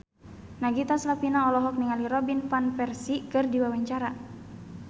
Nagita Slavina olohok ningali Robin Van Persie keur diwawancara